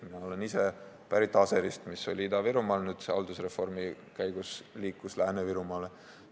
Mina olen ise pärit Aserist, mis oli Ida-Virumaal, nüüd on see haldusreformi käigus liikunud Lääne-Virumaale.